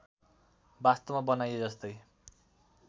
वास्तवमा बनाइए जस्तै